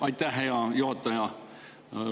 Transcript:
Aitäh, hea juhataja!